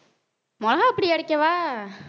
மொளகா பொடி அரைக்கவா